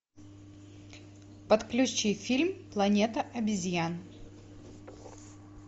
подключи фильм планета обезьян